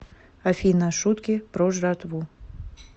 афина шутки про жратву